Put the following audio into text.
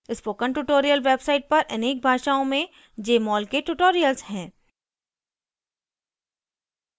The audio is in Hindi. spoken tutorial website पर अनेक भाषाओँ में jmol के tutorials हैं